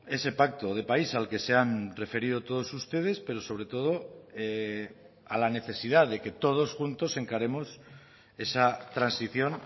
ese pacto de país al que se han referido todos ustedes pero sobre todo a la necesidad de que todos juntos encaremos esa transición